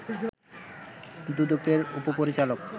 দুদকের উপপরিচালক